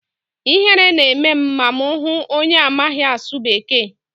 Ihere na-eme m ma m hụ onye amaghị asụ bekee.